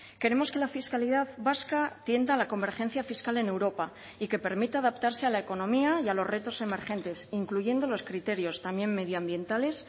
queremos que la fiscalidad vasca tienda a la convergencia fiscal en europa y que permita adaptarse a la economía y a los retos emergentes incluyendo los criterios también medioambientales